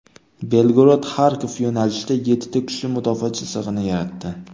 BelgorodXarkov yo‘nalishida yettita kuchli mudofaa chizig‘ini yaratdi.